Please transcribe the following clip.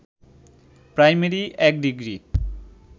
primary ১ degree